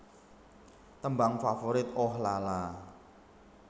Tembang Favorit Ooh La La